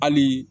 Hali